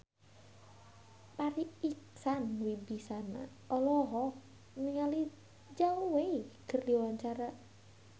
Farri Icksan Wibisana olohok ningali Zhao Wei keur diwawancara